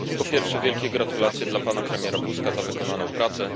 Po pierwsze, wielkie gratulacje dla pana premiera Buzka za wykonaną pracę.